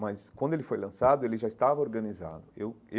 Mas, quando ele foi lançado, ele já estava organizado eu.